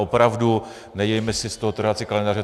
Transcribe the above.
Opravdu, nedělejme si z toho trhací kalendář.